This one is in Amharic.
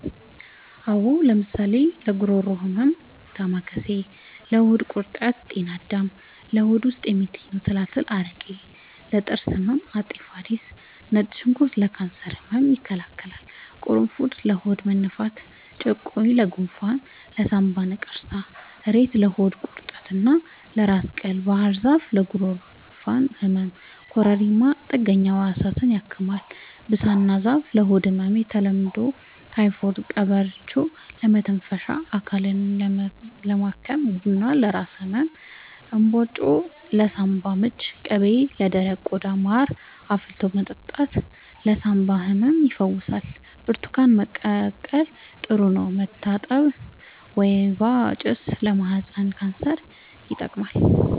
አዎ ለምሳሌ ለጉሮሮ ህመም ዳማከሴ ለሆድ ቁርጠት ጤና አዳም ለሆድ ውስጥ የሚገኙ ትላትል አረቄ ለጥርስ ህመም አፄ ፋሪስ ነጭ ሽንኩርት ለካንሰር ህመም ይከላከላል ቁሩፉድ ለሆድ መነፋት ጭቁኝ ለጎንፋን ለሳንባ ነቀርሳ እሬት ለሆድ ቁርጠት እና ለራስ ቅል ባህርዛፍ ለጉንፋን ህመም ኮረሪማ ጥገኛ ህዋሳትን ያክማል ብሳና ዛፍ ለሆድ ህመም በተለምዶ ታይፎድ ቀበርቿ ለመተንፈሻ አካልን ለማከም ቡና ለራስ ህመም እንባጮ ለሳንባ ምች ቅቤ ለደረቀ ቆዳ ማር አፍልቶ መጠጣት ለሳንባ ህመም ይፈውሳል ብርቱካን መቀቀል ጥሩ ነው መታጠን ወይባ ጭስ ለማህፀን ካንሰር ይጠቅማል